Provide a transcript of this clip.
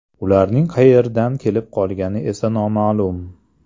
Ularning qayerdan kelib qolgani esa noma’lum.